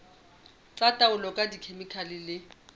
tsa taolo ka dikhemikhale le